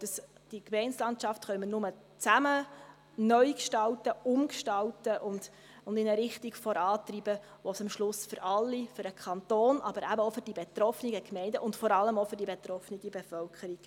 Ich glaube, diese Gemeindelandschaft können wir nur zusammen neu gestalten, umgestalten und in eine Richtung vorantreiben, bei der es am Schluss für alle einen Mehrwert gibt – für den Kanton aber eben auch für die betroffenen Gemeinden und vor allem auch für die betroffene Bevölkerung.